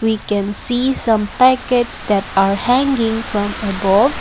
We can see some packets that are hanging from above.